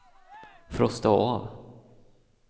frosta av